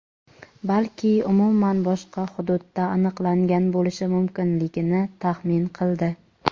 balki umuman boshqa hududda aniqlangan bo‘lishi mumkinligini taxmin qildi.